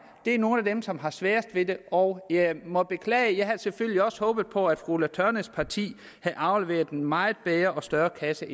er nogle af dem som har sværest ved det og jeg må beklage men jeg havde selvfølgelig også håbet på at fru ulla tørnæs parti havde afleveret en meget bedre og større kasse